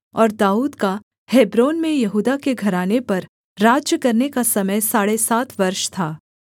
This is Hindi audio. और दाऊद का हेब्रोन में यहूदा के घराने पर राज्य करने का समय साढ़े सात वर्ष था